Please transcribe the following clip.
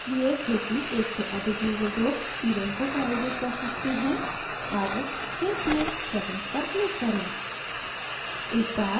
यह इसलिए क्योंकि एक से अधिक user group event को प्रायोजित कर सकते हैं अब save field settings पर click करें